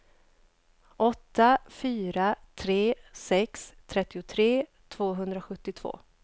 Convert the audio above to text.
åtta fyra tre sex trettiotre tvåhundrasjuttiotvå